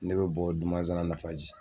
Ne bɛ bɔ Dumanzana Nafaji.